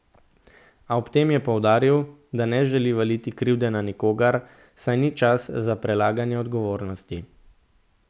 A ob tem je poudaril, da ne želi valiti krivde na nikogar, saj ni čas za prelaganje odgovornosti.